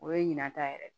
O ye ɲina ta yɛrɛ ye